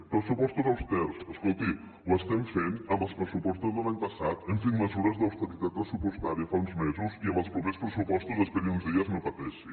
pressupostos austers escolti ho estem fent amb els pressupostos de l’any passat hem fet mesures d’austeritat pressupostària fa uns mesos i en els propers pressupostos esperi uns dies no pateixi